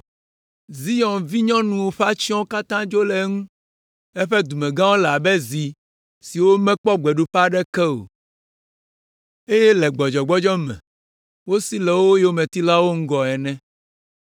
“Zion vinyɔnu ƒe atsyɔ̃wo katã dzo le eŋu. Eƒe dumegãwo le abe zi siwo mekpɔ gbeɖuƒe aɖeke o, eye le gbɔdzɔgbɔdzɔ me wosi le wo yometilawo ŋgɔ ene.